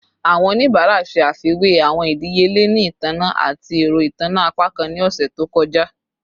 Awọn onibara ṣe afiwe awọn idiyele ni itanna ati ẹrọ itanna apakan ni ọsẹ to kọja